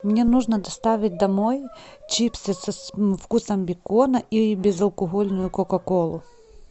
мне нужно доставить домой чипсы со вкусом бекона и безалкогольную кока колу